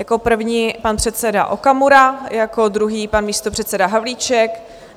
Jako první pan předseda Okamura, jako druhý pan místopředseda Havlíček.